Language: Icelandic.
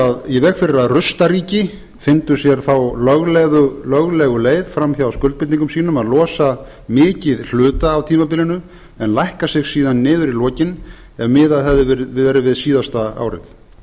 að rustaríki fyndu sér þá löglegu leið fram hjá skuldbindingum sínum að losa mikið hluta af tímabilinu en lækka sig síðan niður í lokin ef miðað hefði verið við síðasta árið